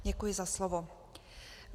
Děkuji za slovo.